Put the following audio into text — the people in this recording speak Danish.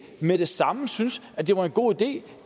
med det samme syntes at det var en god idé